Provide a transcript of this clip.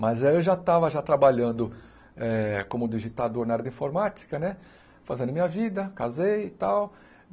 Mas aí eu já estava já trabalhando eh como digitador na área de informática né, fazendo minha vida, casei e tal.